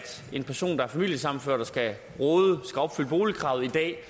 en person der er familiesammenført og skal opfylde boligkravet i dag